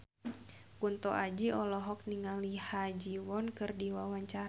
Kunto Aji olohok ningali Ha Ji Won keur diwawancara